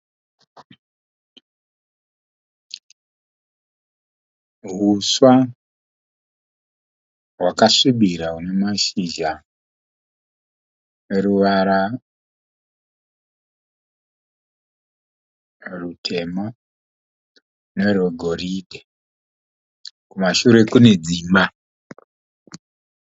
Huswa hwakasvibira nemashizha eruvara rutema nerwe goridhe. Kumashure kune dzimba.